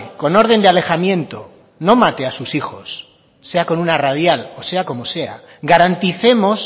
con orden de alejamiento no mate a sus hijos sea con una radial o sea como sea garanticemos